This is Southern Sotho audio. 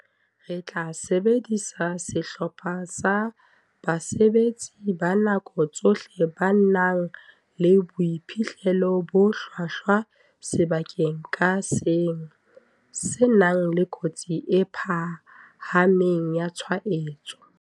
"Re tla sebedisa sehlopha sa basebetsi ba nako tsohle ba nang le boiphihlelo bo hlwahlwa sebakeng ka seng se nang le kotsi e phahameng ya tshwaetso."